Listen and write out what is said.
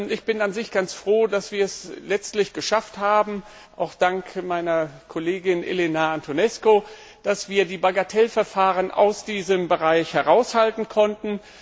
Ich bin ganz froh, dass wir es letztlich geschafft haben, auch dank meiner Kollegin Elena Antonescu, dass wir die Bagatellverfahren aus diesem Bereich heraushalten konnten.